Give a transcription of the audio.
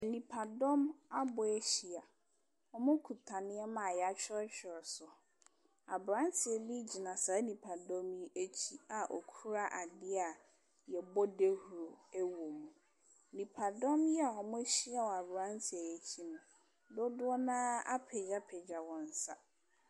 Nnipadɔm abɔ ahyia. Wɔkuta nneɛma a wɔatwerɛtwerɛ so. Aberanteɛ bi gyina saa nnipadɔm yi akyi a ɔkura adeɛ a wɔbɔ dawuro wom. Nnipadɔm yi a wɔahyia wɔ aberanteɛ yi akyi no, dodoɔ no ara apagyapagya wɔn nsa.